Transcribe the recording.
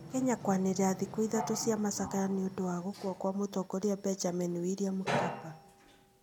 Kenya kũanĩrĩra thikũ ithatũ cia macakaya nĩ ũndũ wa gũkua kwa Mũtongoria Benjamin William Mkapa.